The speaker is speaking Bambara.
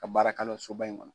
Ka baara kala o soba in kɔnɔ.